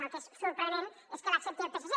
el que és sorprenent és que l’accepti el psc